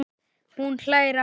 Hún hlær aftur.